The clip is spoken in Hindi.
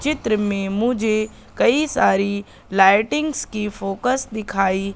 चित्र में मुझे कई सारी लाइटिंग की फोकस दिखाई--